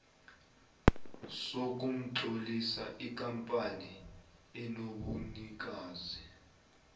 sokutlolisa ikampani enobunikazi